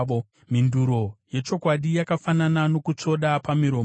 Mhinduro yechokwadi yakafanana nokutsvoda pamiromo.